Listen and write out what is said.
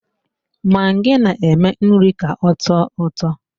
Magi na-eme nri ka ọtọ ụtọ.